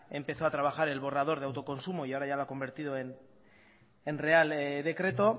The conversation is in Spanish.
empezó a trabajar el borrador de autoconsumo y ahora ya lo ha convertido en real decreto